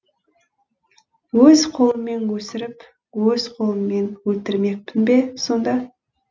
өз қолыммен өсіріп өз қолыммен өлтірмекпін бе сонда